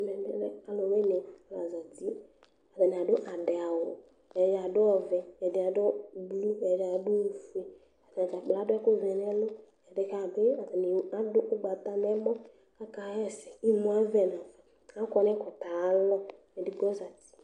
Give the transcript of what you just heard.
Ɛmɛ bi lɛ aluwini la zati, atani adu adɛ awù ɛdini adu ɔvɛ, ɛdi adu blu, ɛdi adu ofue, atadzakplo adu ɛku vɛ n'ɛlu ɛdiɛ k'aduɛ bi atani adu ugbata n'ɛmɔ ka hɛsɛ imuavɛ n'afa k'akɔ k'ɛkutɛ ayialɔ edigbo zati